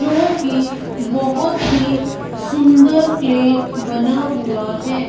जोकि बहोत ही सुंदर क्ले बना हुआ है।